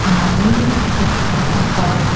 అలాగే ఇక్కడ ఒక--